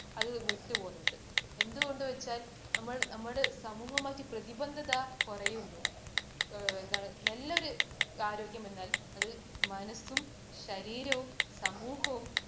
അത് വിട്ടു പോകുന്നുണ്ട്. അത് എന്ത് കൊണ്ട് വച്ചാൽ നമ്മൾ നമ്മുടെ സമൂഹമായ പ്രതിബദ്ധത കുറയുന്നു. നല്ലൊരു ആരോഗ്യമെന്നാൽ അത് മനസും, ശരീരവും, സമൂഹവും